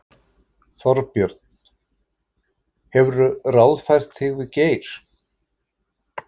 Þorbjörn: Hefurðu ráðfært þig við Geir?